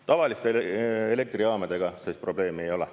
Tavaliste elektrijaamadega sellist probleemi ei ole.